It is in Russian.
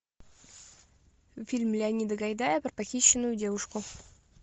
фильм леонида гайдая про похищенную девушку